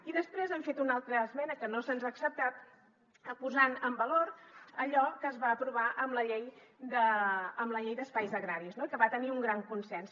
i després hem fet una altra esmena que no se’ns ha acceptat posant en valor allò que es va aprovar amb la llei d’espais agraris no i que va tenir un gran consens